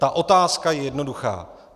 Ta otázka je jednoduchá.